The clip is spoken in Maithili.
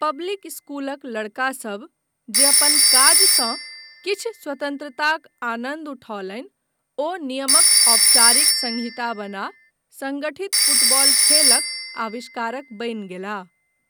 पब्लिक इस्कूलक लड़का सभ जे अपन काजसँ किछु स्वतन्त्रताक आनन्द उठौलनि ओ नियमक औपचारिक सन्हिता बना संगठित फुटबॉल खेलक आविष्कारक बनि गेलाह।